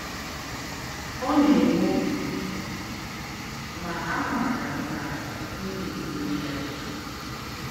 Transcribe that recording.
Ọ̀ nà-èwé ógé, mà àmáárá m nà m̀ gà-èmélí yá.